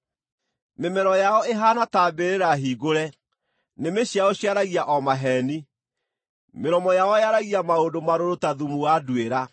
“Mĩmero yao ĩhaana ta mbĩrĩra hingũre; nĩmĩ ciao ciaragia o maheeni.” “Mĩromo yao yaragia maũndũ marũrũ ta thumu wa nduĩra.”